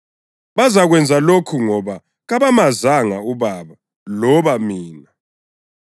Bazakwenza lokhu ngoba kabamazanga uBaba loba mina.